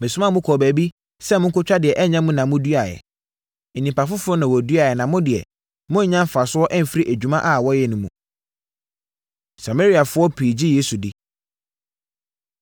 Mesomaa mo kɔɔ baabi sɛ monkɔtwa deɛ ɛnyɛ mo na moduaeɛ. Nnipa foforɔ na wɔduaeɛ na mo deɛ, moanya mfasoɔ afiri adwuma a wɔyɛ no mu.” Samariafoɔ Pii Gye Yesu Di